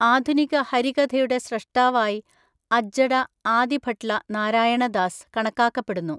ആധുനിക ഹരികഥയുടെ സ്രഷ്ടാവായി അജ്ജട ആദിഭട്ട്ല നാരായണ ദാസ് കണക്കാക്കപ്പെടുന്നു.